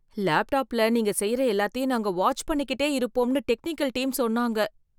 லேப்டாப்ல நீங்க செய்யற எல்லாத்தையும் நாங்க வாட்ச் பண்ணிக்கிட்டே இருப்போம்னு டெக்னிக்கல் டீம் சொன்னாங்க.